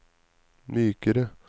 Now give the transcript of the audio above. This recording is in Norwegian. mykere